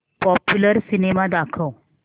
popular cinema दाखव